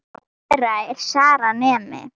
Dóttir þeirra er Sara, nemi.